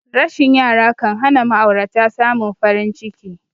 Rashin yara kanhana ma'aurata samin farin ciki